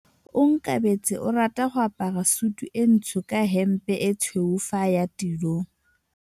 Onkabetse o rata go apara sutu e ntsho ka hempe e tshweu fa a ya tirong.